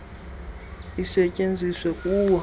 kwaye isetyenziswa kuwo